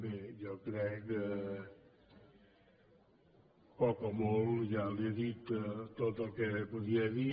bé jo crec que poc o molt ja li he dit tot el que podia dir